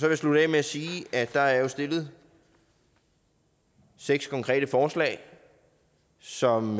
jeg slutte af med at sige at der jo er stillet seks konkrete forslag som